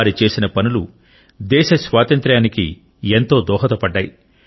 వారు చేసిన పనులు దేశ స్వాతంత్ర్యానికి ఎంతో దోహదపడ్డాయి